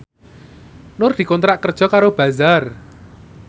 Nur dikontrak kerja karo Bazaar